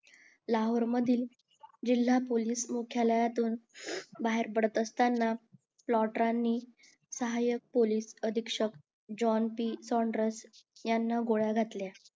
लाहोर मधील जिल्हा पोलीस मुख्यालयातून बाहेर पडत असताना यांनी सहायक पोलीस अधीक्षक जोन यांना गोळ्या घातल्या